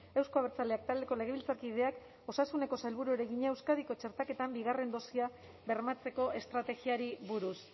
euzko abertzaleak taldeko legebiltzarkideak osasuneko sailburuari egina euskadiko txertaketan bigarren dosia bermatzeko estrategiari buruz